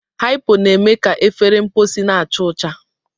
Hypo na-eme ka efere mposi na-acha ọcha.